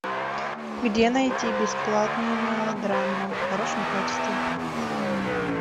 где найти бесплатную мелодраму в хорошем качестве